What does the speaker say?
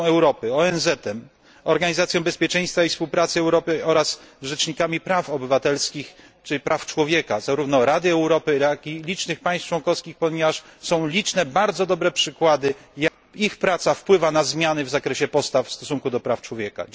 z Radą Europy, ONZ, Organizacją Bezpieczeństwa i Współpracy w Europie oraz rzecznikami praw obywatelskich czy praw człowieka zarówno Rady Europy, jak i licznych państw członkowskich, ponieważ są liczne, bardzo dobre przykłady wpływu ich pracy na zmiany w zakresie postaw w stosunku do praw człowieka.